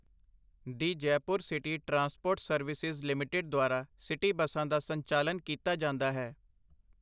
ਦੀ Jaipur city transport services limited ਦੁਆਰਾ city ਬੱਸਾਂ ਦਾ ਸੰਚਾਲਨ ਕੀਤਾ ਜਾਂਦਾ ਹੈ।